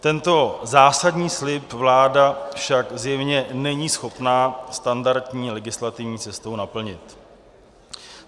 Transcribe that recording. Tento zásadní vliv vláda však zjevně není schopna standardní legislativní cestou naplnit.